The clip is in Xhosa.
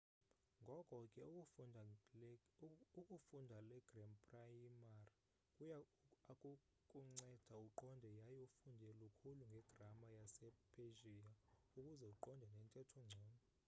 ngoko ke ukufunda le gram prayimar kuy akukunceda uqonde yaye ufunde lukhulu ngegrama yase-persia ukuze uqonde nentetho ngcono